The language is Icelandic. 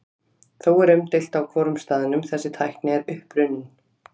Þó er umdeilt á hvorum staðnum þessi tækni er upprunnin.